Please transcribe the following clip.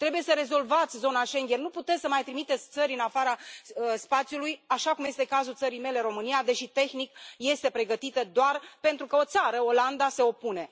Trebuie să rezolvați zona Schengen, nu puteți să mai trimiteți țări în afara spațiului, așa cum este cazul țării mele, România, deși, tehnic, este pregătită, doar pentru că o țară, Olanda, se opune.